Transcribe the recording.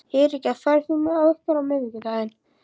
Eiríka, ferð þú með okkur á miðvikudaginn?